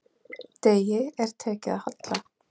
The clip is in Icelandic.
Degi er tekið að halla.